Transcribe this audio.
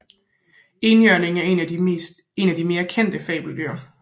Enhjørningen er et af de mere kendte fabeldyr